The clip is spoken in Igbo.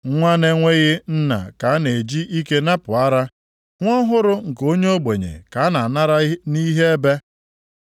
Nwa na-enweghị nna ka a na-eji ike napụ ara. Nwa ọhụrụ nke onye ogbenye ka a na-anara nʼihe ebe.